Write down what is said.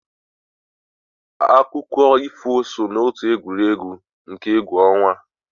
Akụkọ ifo so n'otu egwuregwu nke egwu ọnwa.